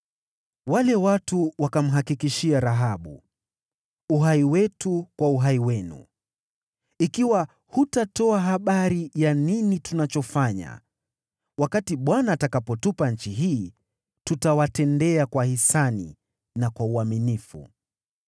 Wale watu wakamhakikishia Rahabu, “Uhai wetu kwa uhai wenu! Ikiwa hutatoa habari ya nini tunachofanya, wakati Bwana atakapotupa nchi hii, tutawatendea kwa hisani na kwa uaminifu.”